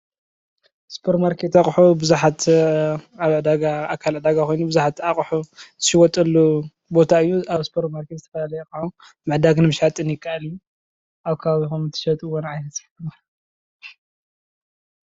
ሱፐር ማርኬት ኣቑሑ ብዙሓት ኣብ ዕዳጋ ኣካል ዕዳጋ ኾይኑ ብዙሓት ኣቕሑ ዝሽወጠሉ ቦታ እዩ። ኣብ ሱፐር ማርኬት ዝተፈላለዩ ኣቑሑት ምዕዳግን ምሻጥን እከኣል እዩ። ኣብ ከባቢኹም እትሸትዎም ዓይነት?